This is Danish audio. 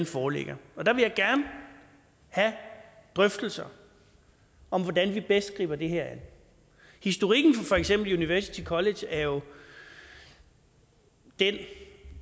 foreligger der vil jeg gerne have drøftelser om hvordan vi bedst griber det her an historikken for for eksempel university college er jo den